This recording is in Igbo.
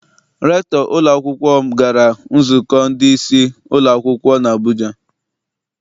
Rektọ ụlọakwụkwọ m gara nzukọ ndị isi ụlọ akwụkwọ n'Abuja.